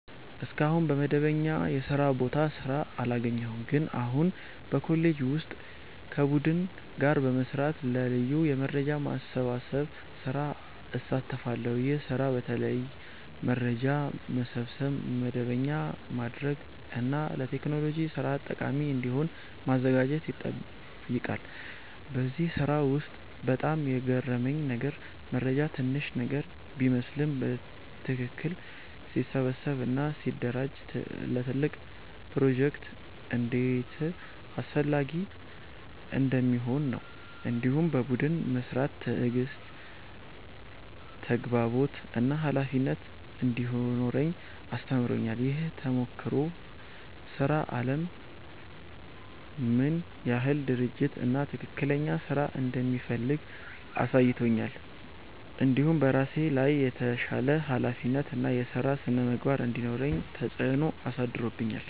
እስካሁን በመደበኛ የስራ ቦታ ስራ አላገኘሁም፣ ግን አሁን በኮሌጄ ውስጥ ከቡድን ጋር በመስራት ለ ልዩ የመረጃ ማሰባሰብ ስራ እሳተፋለሁ። ይህ ስራ በተለይ መረጃ መሰብሰብ፣ መደበኛ ማድረግ እና ለቴክኖሎጂ ስርዓት ጠቃሚ እንዲሆን ማዘጋጀት ይጠይቃል። በዚህ ስራ ውስጥ በጣም የገረመኝ ነገር መረጃ ትንሽ ነገር ቢመስልም በትክክል ሲሰበሰብ እና ሲደራጀ ለትልቅ ፕሮጀክት እንዴት አስፈላጊ እንደሚሆን ነው። እንዲሁም በቡድን መስራት ትዕግሥት፣ ተግባቦት እና ኃላፊነት እንዲኖረኝ አስተምሮኛል። ይህ ተሞክሮ ስራ አለም ምን ያህል ድርጅት እና ትክክለኛ ስራ እንደሚፈልግ አሳይቶኛል። እንዲሁም በራሴ ላይ የተሻለ ኃላፊነት እና የስራ ስነ-ምግባር እንዲኖረኝ ተጽዕኖ አሳድሮብኛል።